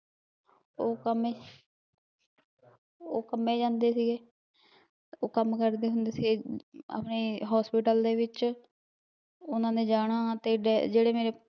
ਉਹ ਕੰਮੇ ਉਹ ਕੰਮੇ ਜਾਂਦੇ ਸੀਗੇ ਉਹ ਕੰਮ ਕਰਦੇ ਹੁੰਦੇ ਸੀ, ਅਵੇ hospital ਦੇ ਵਿੱਚ ਉਹਨਾਂ ਨੇ ਜਾਣਾ ਤੇ ਜਿਹੜੇ ਮੇਰੇ ਪਾ